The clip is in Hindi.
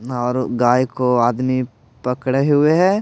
और गाय को आदमी पकड़े हुए हैं।